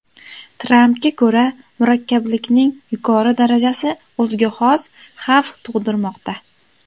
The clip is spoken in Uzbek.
Trampga ko‘ra, murakkablikning yuqori darajasi o‘ziga xos xavf tug‘dirmoqda.